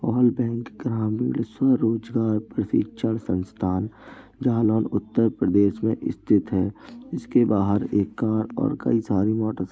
all bank ग्रामीण स्वरोजगार प्रशिक्षण संस्थान उत्तर प्रदेश में स्थित है | इसके बाहर एक कार और कई सारी मोटर्स --